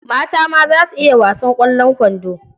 Mata ma za su iya wasan ƙwallon kwando.